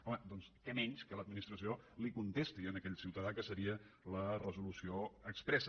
home doncs què menys que l’administració li contesti a aquell ciutadà que seria la resolució expressa